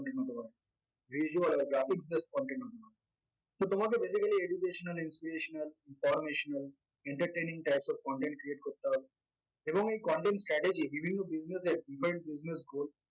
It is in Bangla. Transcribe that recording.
visual বা grafic based content হতে পারে so তোমাকে basically educational, inspirational, informational, entertaining types of content create করতে হবে এবং এই content strategy বিভিন্ন business এর